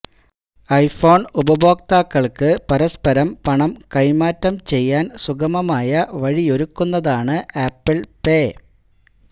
iPhone ഉപഭോക്താക്കള്ക്ക് പരസ്പരം പണം കൈമാറ്റം ചെയ്യാന് സുഗമമായ വഴിയൊരുക്കുന്നതാണ് ആപ്പിള് പേ